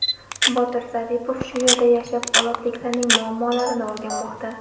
Botir Zaripov shu yerda yashab, olotliklarning muammolarini o‘rganmoqda.